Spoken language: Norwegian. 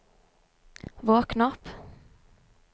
våkn opp